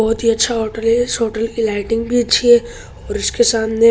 बोहोत ही अच्छा होटल है इस होटल की लाइटिंग भी अच्छी है और इसके सामने --